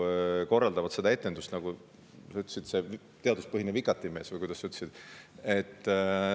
Nad korraldavad etenduse – nagu sa ütlesid, see teaduspõhine vikatimees, või kuidas sa ütlesid?